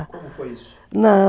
Como foi isso? Não